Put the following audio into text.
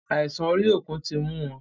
Àìsàn orí òkun tí mú wọn.